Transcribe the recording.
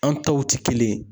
An taw tɛ kelen ye.